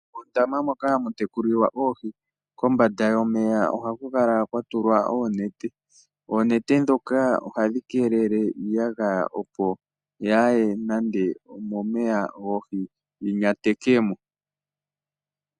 Uundama moka hamu tekulilwa oohi kombanda yomeya ohaku kala kwa tulwa oonete. Oonete dhoka ohadhi keelele iiyagaya opo yaa ye nande momeya goohi, yi nyateke mo.